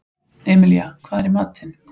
Emilía, hvað er í matinn?